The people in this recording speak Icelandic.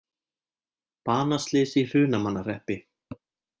Banaslys í Hrunamannahreppi